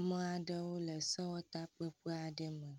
Ame aɖewo le sewɔtakpekpe aɖe me.